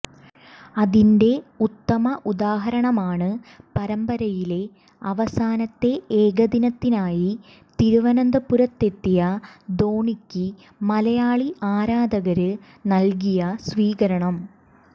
അതിന്റെ ഉത്തമ ഉദാഹരണമാണ് പരമ്പരയിലെ അവസാനത്തെ ഏകദിനത്തിനായി തിരുവനന്തപുരത്തെത്തിയ ധോണിയ്ക്ക് മലയാളി ആരാധകര് നല്കിയ സ്വീകരണം